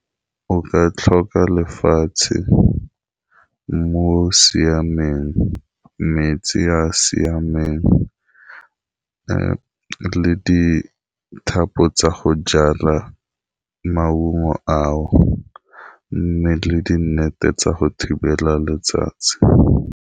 O ka tlhoka lefatshe mmu o siameng, metsi a siameng, le dithapo tsa go jala maungo ao, mme le di nnete tsa go thibela letsatsi.